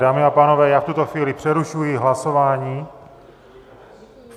Dámy a pánové, já v tuto chvíli přerušuji hlasování.